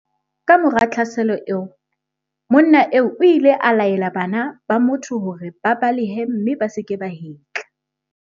Kamora tlhaselo eo, monna eo o ile a laela bana ba motho hore ba balehe mme ba se ke ba hetla.